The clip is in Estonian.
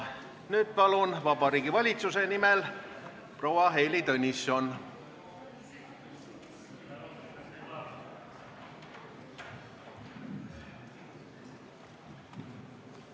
Nüüd aga Vabariigi Valitsuse esindaja proua Heili Tõnisson, palun!